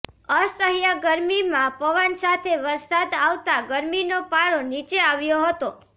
અસહ્ય ગરમીમાં પવન સાથે વરસાદ આવતા ગરમીનો પારો નીચે આવ્યો હતો